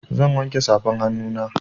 Zan wanke safan hannuna.